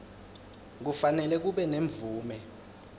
kufanele kube nemvume